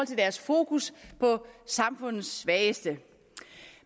til deres fokus på samfundets svageste